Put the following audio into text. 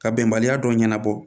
Ka bɛnbaliya dɔ ɲɛnabɔ